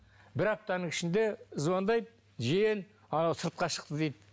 бір аптаның ішінде звондайды жиен анау сыртқа шықты дейді